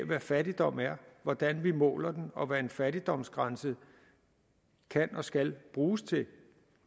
hvad fattigdom er hvordan vi måler den og hvad en fattigdomsgrænse kan og skal bruges til